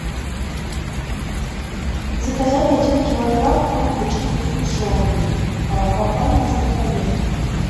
заказать один килограмм трубочек со сгущенкой компании сладкоежка